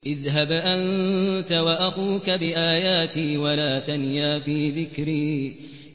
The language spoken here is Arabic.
اذْهَبْ أَنتَ وَأَخُوكَ بِآيَاتِي وَلَا تَنِيَا فِي ذِكْرِي